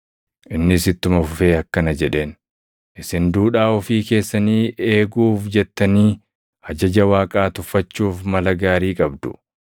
Innis ittuma fufee akkana jedheen; “Isin duudhaa ofii keessanii eeguuf jettanii ajaja Waaqaa tuffachuuf mala gaarii qabdu!